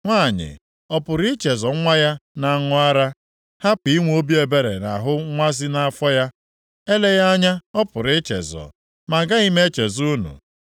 “Nwanyị ọ pụrụ ichezọ nwa ya na-aṅụ ara, hapụ inwe obi ebere nʼahụ nwa si nʼafọ ya? Eleghị anya ọ pụrụ ichezọ, ma agaghị m echezọ unu.